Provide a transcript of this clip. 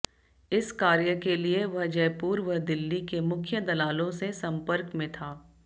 इस कार्य के लिए वह जयपुर व दिल्ली के मुख्य दलालों से सम्पर्क में था